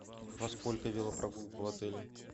во сколько велопрогулка в отеле